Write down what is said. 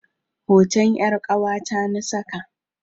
Hoton 'yar ƙawata na saka.